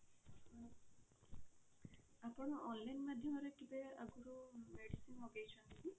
ଆପଣ online ମାଧ୍ୟମରେ କେବେ ଆଗରୁ medicine ମଗେଇଛନ୍ତି କି?